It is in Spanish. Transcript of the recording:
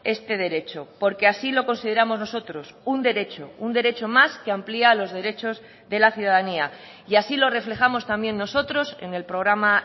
este derecho porque así lo consideramos nosotros un derecho un derecho más que amplía los derechos de la ciudadanía y así lo reflejamos también nosotros en el programa